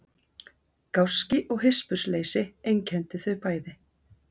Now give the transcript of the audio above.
Gáski og hispursleysi einkenndi þau bæði.